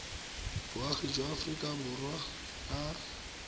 boagi jwa aforika borwa ka